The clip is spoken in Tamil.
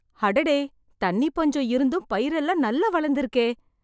அடடே. தண்ணி பஞ்சம் இருந்தும் பயிரெல்லாம் நல்லா வளந்திருக்கே.